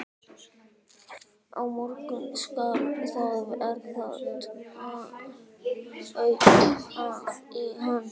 Á morgun skal það verða, tautaði hann.